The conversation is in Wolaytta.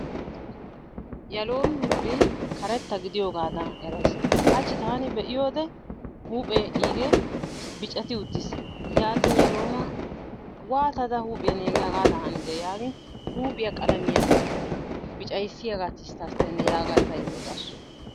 Yaloomi huuphphee karetta gidiyoogadan erays. Haachchi taani be'iyoode huphphee igee biccati uttiis. yaatin yaaloma waatidi huphphee negee haagadan hanidee yaagin? huuphphiyaa qalamiyaa biccayissiyaagaa tisttastenee yaagada tayoo odaasu.